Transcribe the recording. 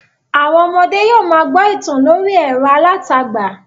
Àwọn ọmọdẹ́ yóò ma gbọ́ ìtàn lórí ẹ̀rọ alátagbà